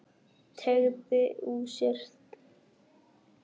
Teygir úr sér.